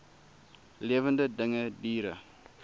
lewende dinge diere